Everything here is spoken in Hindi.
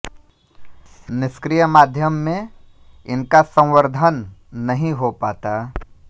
निष्क्रिय माध्यम में इनका संवर्धन नहीं हो पाता